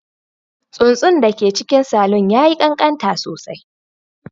Tsuntsun da ke cikin salon ya yi ƙanƙanta sosai